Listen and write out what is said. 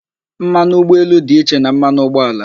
Mmanụ ụgbọelu dị iche na mmanụ ụgbọala